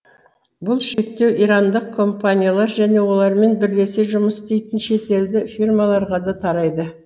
бұл шектеу ирандық компаниялар және олармен бірлесе жұмыс істейтін шетелдік фирмаларға да тарайды